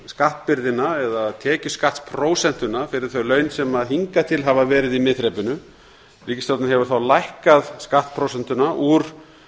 skattbyrðina eða tekjuskattsprósentuna fyrir þau laun sem hingað til hafa verið í miðþrepinu úr